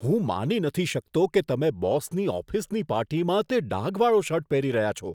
હું માની નથી શકતો કે તમે બોસની ઓફિસની પાર્ટીમાં તે ડાઘવાળો શર્ટ પહેરી રહ્યા છો.